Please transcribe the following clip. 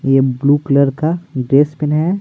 ये blue colour का dress pin है।